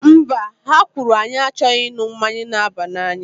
Mba, ha kwuru, anyị achọghị ịṅụ mmanya na-aba n'anya